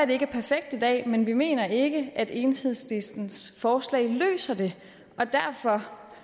det ikke er perfekt i dag men vi mener ikke at enhedslistens forslag løser det og